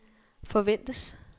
forventes